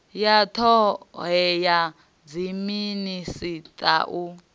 ya ṱahe ya dziminisiṱa u